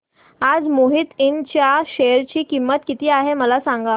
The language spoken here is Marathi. आज मोहिते इंड च्या शेअर ची किंमत किती आहे मला सांगा